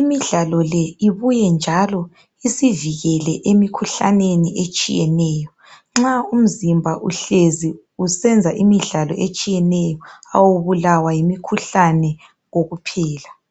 Imidlalo le ibuye njalo isivikele emikhuhlaneni etshiyeneyo. Nxa umzimba uhlezi usenza imidlalo etshiyeneyo awubulawa yimikhuhlane kokuphela.